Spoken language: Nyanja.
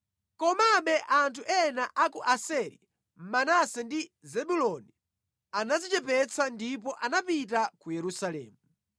Komabe anthu ena a ku Aseri, Manase ndi Zebuloni anadzichepetsa ndipo anapita ku Yerusalemu.